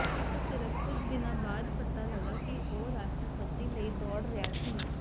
ਉਹ ਸਿਰਫ ਕੁਝ ਦਿਨਾਂ ਬਾਅਦ ਪਤਾ ਲੱਗਾ ਕਿ ਉਹ ਰਾਸ਼ਟਰਪਤੀ ਲਈ ਦੌੜ ਰਿਹਾ ਸੀ